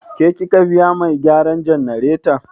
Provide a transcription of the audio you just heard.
Ke kika biya mai gyaran jannareta?